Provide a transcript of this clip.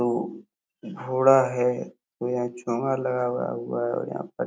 दो घोड़ा है और यहां चूहा लगा हुआ हुआ है यहाँ पर।